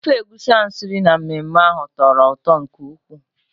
Ofe egusi ha siri na mmemme ahụ tọrọ ụtọ nke ukwuu.